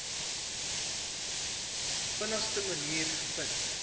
vinnigste manier gevind